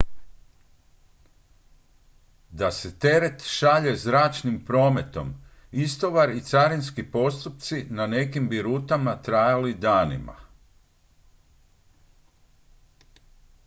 da se teret šalje zračnim prometom istovar i carinski postupci na nekim bi rutama trajali danima